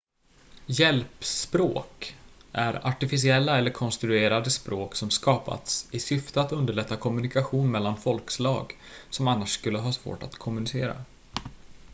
hjälpspråk är artificiella eller konstruerade språk som skapats i syfte att underlätta kommunikation mellan folkslag som annars skulle ha svårt att kommunicera